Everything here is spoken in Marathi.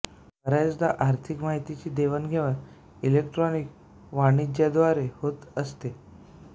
बऱ्याचदा आर्थिक माहितीची देवाणघेवाण इलेक्ट्रॉनिक वाणिज्याद्वारे होत असते